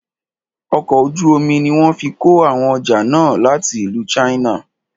Ọkọ̀ ojú omi ní wọ́n fí kó àwọn ọjà náà láti ìlú china.